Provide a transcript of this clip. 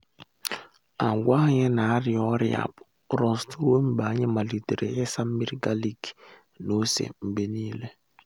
agwa anyị na ari-ọrịa rọst ruo mgbe anyị malitere ịsa nmiri galik na ose mgbe niile.